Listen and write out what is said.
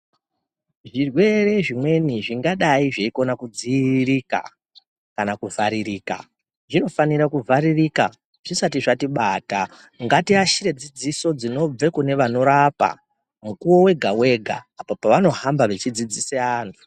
Zvirwere zvimweni zvinokona zveidzivirirka Kana kuvharirika zvinofana kuvharirika kutibata ngatibatsire dzidziso dzinorapa Mukuwo wega wega apo pavanohamba vechidzidzisa vantu.